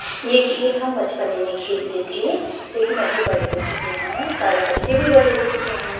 ये खेल हम बचपने में खेलते थे लेकिन अभी बड़े हो चुके हैं सारे बच्चे भी बड़े हो चुके हैं।